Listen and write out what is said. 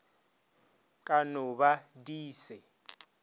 ka no ba di se